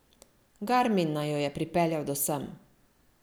Garmin naju je pripeljal do sem.